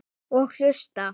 Og hlusta.